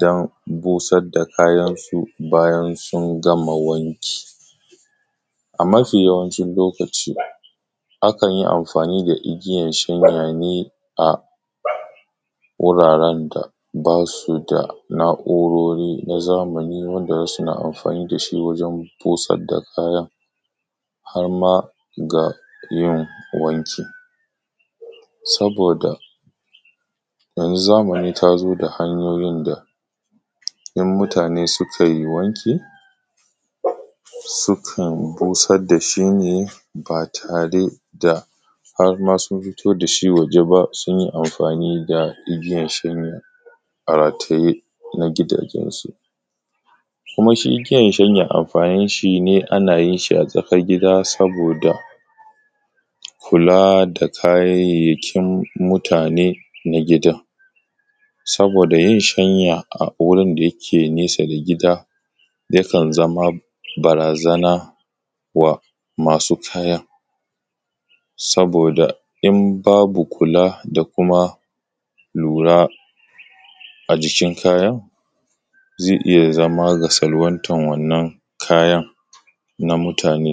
dan busad da kayansu bayan sun gama wanki. A mafi yawancin lokaci, akan yi amfani da igiyan shanya ne, a wuraren da ba su da na’urori na zamani wanda za suna amfani da shi wajen busad da kayan, har ma ga yin wanki. Saboda, yanzu zamani ta zo da hanyoyin da, in mutane sukai wanki, sukan busad da shi ne, ba tare da har ma sun fito da shi waje ba sun yi amfani da igiyan shanya, a rataye na gidajensu. Kuma shi igiyan shanya amfanin shi ne ana yin shi a tsakar gida saboda kula da kayayyakin mutane na gidan Saboda yin shanya a wurin da yake nesa da gida, yakan zama barazana wa masu kayan. Saboda, in babu kula da kuma lura a jikin kayan, ze iya zama ga salwantan wannan kayan, na mutane.